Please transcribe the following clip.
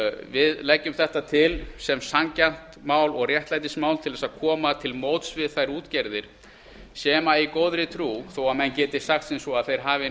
við leggjum þetta til sem sanngjarnt mál og réttlætismál til að koma til móts við þær útgerðir sem í góðri trú þó að menn geti sagt sem svo að þeir hafi